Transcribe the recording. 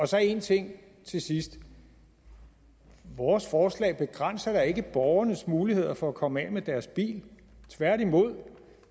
så en ting til sidst vores forslag begrænser da ikke borgernes muligheder for at komme af med deres bil tværtimod